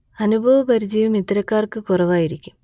അനുഭവ പരിചയവും ഇത്തരക്കാർക്ക് കുറവായിരിക്കും